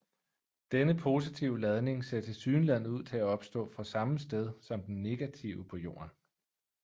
Denne positive ladning ser tilsyneladende ud til at opstå fra samme sted som den negative på jorden